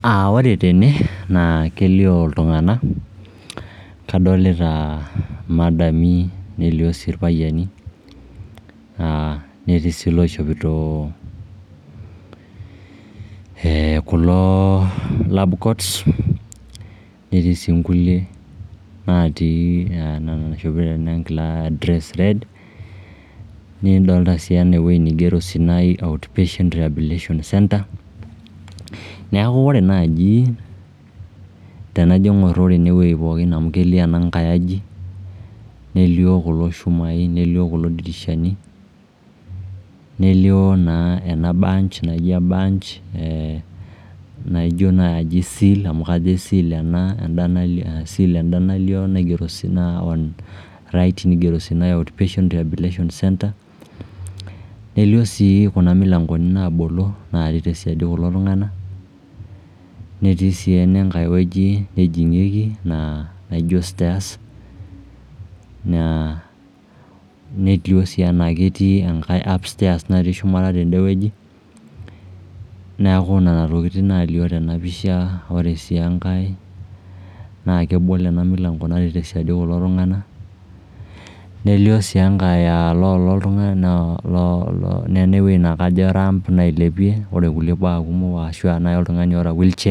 Ore tene naa kelio iltung'anak, kadolita imadami nelio sii irpayiani netii sii iloishopito kulo lab coats netii sii nkulie natii enaa eshopita ena enkila e dress red. Nidolita sii enewuei nigero Sinai Outpatient Rehabilitation center. Neeku ore naaji tenajo aaing'urr enewuei pookin amu kelio ena nkae aji nelio kulo shumai, nelio kulo dirishani, nelio naa ena bunch naijo naai seal amu ijo seal enda, seal enda naigero Sinai Outpatient Rehabilitation Centre. Nelio sii kuna milangoni naabolo naaketii siaidi ekulo tung'anak, netii sii ene nkae wueji nejing'ieki naa naijo stairs netii sii enkai stairs natii upstairs shumata tende wueji. Neeku nena tokiting naalio tena pisha, ore sii enkae naa kebolo ena milango natii tesiadi kulo tung'anak nelio sii enkae aa loolo, nena ewuei naa kajo rump nailepieki ore kulo baak kumok ashu naai oltung'ani oota wheelchair